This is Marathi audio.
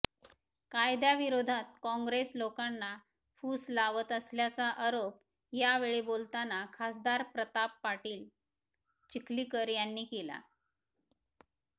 कायद्याविरोधात काँग्रेस लोकांना फूस लावत असल्याचा आरोप यावेळी बोलताना खासदार प्रताप पाटील चिखलीकर यांनी केला